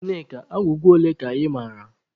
Nneka agwụgwa ole ka ị mara?